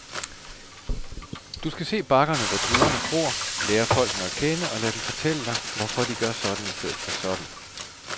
Du skal se bakkerne, hvor druerne gror, lære folkene at kende, og lade dem fortælle dig, hvorfor de gør sådan i stedet for sådan.